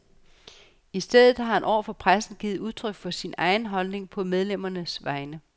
I stedet har han over for pressen givet udtryk for sin egen holdning, på medlemmernes vegne.